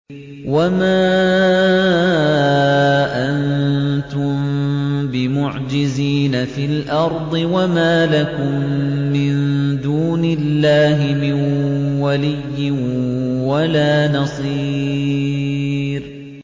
وَمَا أَنتُم بِمُعْجِزِينَ فِي الْأَرْضِ ۖ وَمَا لَكُم مِّن دُونِ اللَّهِ مِن وَلِيٍّ وَلَا نَصِيرٍ